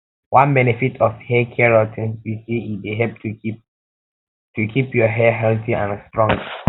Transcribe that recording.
one benefit of haircare routines be say e dey help to keep to keep your hair healthy and strong